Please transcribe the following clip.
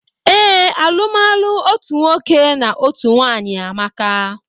Ee, alumalu otú nwoke na ọtụtụ nwanyị amaka